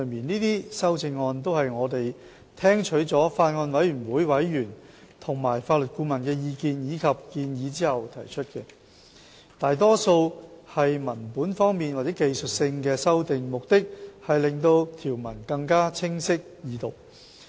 這些修正案都是我們聽取了法案委員會委員和法律顧問的意見及建議後所提出，大多數是文本方面或技術性的修訂，目的是令條文更清晰易讀。